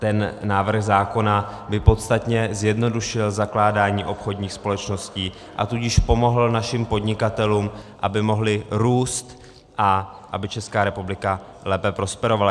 Ten návrh zákona by podstatně zjednodušil zakládání obchodních společností, a tudíž pomohl našim podnikatelům, aby mohli růst a aby Česká republika lépe prosperovala.